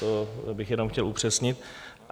To bych jenom chtěl upřesnit.